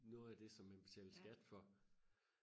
noget af det som man betalte skat for